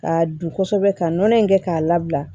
K'a dun kosɛbɛ ka nɔnɔ in kɛ k'a labila